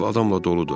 Ev adamla doludur.